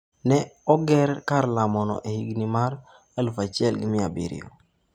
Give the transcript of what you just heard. Ne oger kar lamono e higni mag 1700.